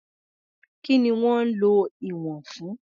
Kí ni wọ́n ń lo ìwọ̀n fún?